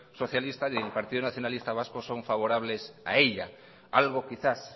socialista ni el partido nacionalista vasco son favorables a ella algo quizás